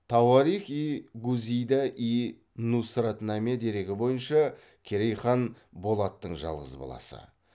тауарих и гузида йи нусратнаме дерегі бойынша керей хан болаттың жалғыз баласы